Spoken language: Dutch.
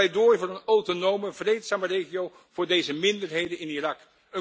Het is een pleidooi voor een autonome vreedzame regio voor deze minderheden in Irak.